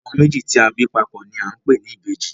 Ọmọ méjì tí a bí papò ni a ń pè ní ìbejì